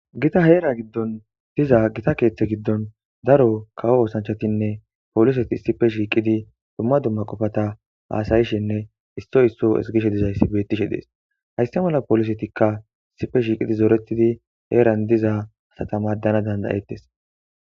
Gita heera giddon diza gita keeththe giddon daro kawo oosanchchatinne pooliseti issippe shiiqidi dumma dumma qofata haasa'ishenne issoy isso ezggishe dizayssi beettishe dees. Hayssa mala poolisetikka issippe shiiqi zoretidi heeran diza asata maaddanaw danda'ettes.